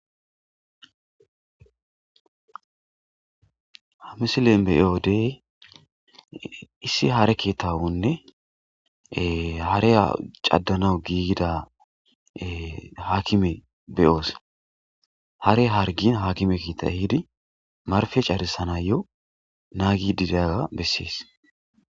Hamisilen be7iodey issi hare kettawonne hare caddanawu giigida haakime beyoos hare hargin hakime kiitay hiidi marfe carisanayyo naagi didaga bessees